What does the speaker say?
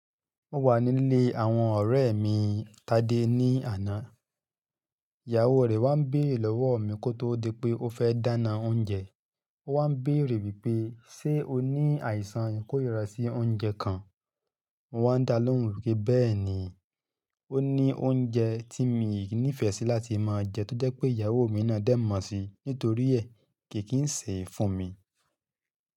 Mo wà nílé àwọn ọ̀rẹ́ mi Tádé ní àná, ìyàwó rẹ̀ wá ń bèrè lọ́wọ́ mi kó tó di pé ó fẹ́ dáná oúnjẹ. Ó wá ń bèrè wípé "ṣé o ní àìsàn ikórira sí oúnjẹ kan?" Mo wá ń dá lóhùn wípé bẹ́ẹ̀ ni, ó ní oúnjẹ tí mi nífẹ̀ẹ́ sí láti máa jẹ tó jẹ́ pé ìyàwó mi náà dẹ̀ mọ̀ sí, nítorí ẹ̀ kì kin se fún mi.